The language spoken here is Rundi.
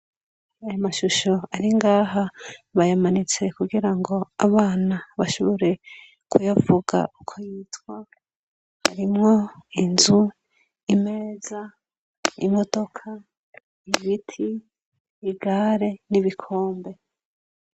Aya mashusho ari ngaha bayamanitse kugira ngo abana bashobore kuyavuga uko yitwa arimwo inzu ,imeza ,imodoka, ibiti ,igare n'ibikombe.